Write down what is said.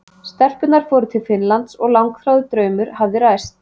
Stelpurnar fóru til Finnlands og langþráður draumur hafði ræst.